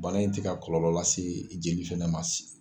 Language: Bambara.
Bana in tɛ ka kɔlɔlɔ lase jeli fana ma sisan.